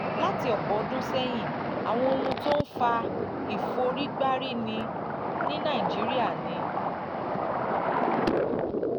láti ọ̀pọ̀ ọdún sẹ́yìn um àwọn um ohun tó ń ohun tó ń fa ìforígbárí ní um nàìjíríà ni